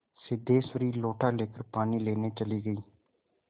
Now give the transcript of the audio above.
सिद्धेश्वरी लोटा लेकर पानी लेने चली गई